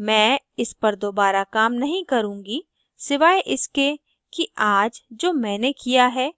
मैं इस पर दोबारा काम नहीं करुँगी सिवाय इसके कि आज जो मैंने काम किया है